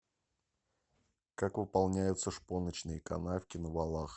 как выполняются шпоночные канавки на валах